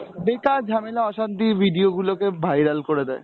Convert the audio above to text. বেকার ঝামেলা অসান্তির video গুলোকে viral করে দেয়।